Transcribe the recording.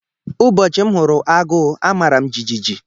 Ụbọchị m hụrụ agụ, amaram jijiji.